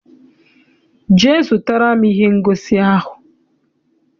Jee zụtara m ihe ngosi ahụ!